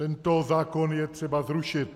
Tento zákon je třeba zrušit!